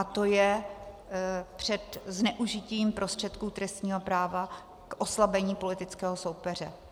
A to je před zneužitím prostředků trestního práva k oslabení politického soupeře.